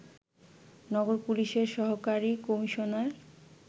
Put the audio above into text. নগর পুলিশের সহকারী কমিশনার